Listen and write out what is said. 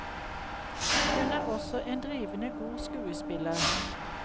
Hun er også en drivende god skuespiller.